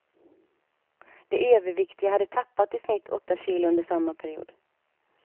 De överviktiga hade tappat i snitt åtta kilo under samma period.